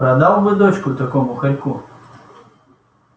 продал бы дочку такому хорьку